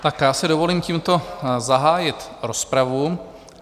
A já si dovolím tímto zahájit rozpravu.